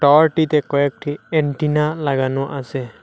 টাওয়ারটিতে কয়েকটি এন্টিনা লাগানো আসে।